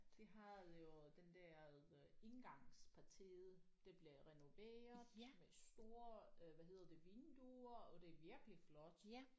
De havde jo den der øh indgangspartiet det blev renoveret med store øh hvad hedder det vinduer og det er virkelig flot